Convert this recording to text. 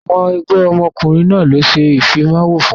Àwọn ẹgbẹ́ òkùnkùn náà ló ṣe Ìfimáwo fún